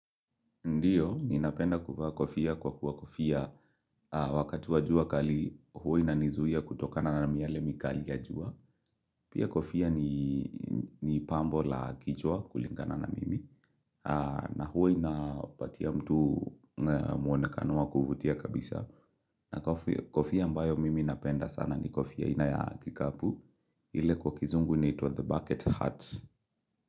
Ndiyo, mimi ninapenda kuvaa kofia kwa kuwa kofia wakati wa jua kali, hua inanizuia kutokana na miale mikali ya jua. Pia kofia ni pambo la kichwa kulingana na mimi. Na hua inampatia mtu muonekano kuvutia kabisa. Na kofia ambayo mimi napenda sana ni kofia aina ya kikapu. Ile kwa kizungu inaitwa "The Bucket Hut"